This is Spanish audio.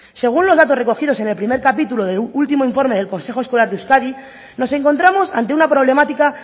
según los datos recogidos en el primero capítulo del último informe del consejo escolar de euskadi nos encontramos ante una problemática